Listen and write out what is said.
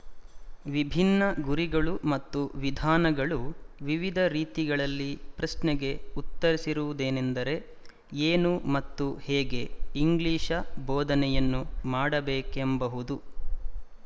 ವಿಭಿನ್ನ ಗುರಿಗಳು ಮತ್ತು ವಿಧಾನಗಳು ವಿವಿಧ ರೀತಿಗಳಲ್ಲಿ ಪ್ರಶ್ನೆಗೆ ಉತ್ತರಿಸಿರುವುದೆನೆಂದರೆ ಏನು ಮತ್ತು ಹೇಗೆ ಇಂಗ್ಲಿಶ ಬೋಧನೆಯನ್ನು ಮಾಡಬೇಕೆಂಬಹುದು